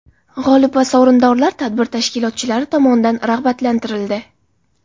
G‘olib va sovrindorlar tadbir tashkilotchilari tomonidan rag‘batlantirildi.